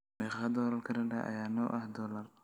meeqa doollar kanada ayaa noo ah dollar